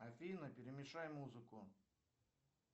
афина перемешай музыку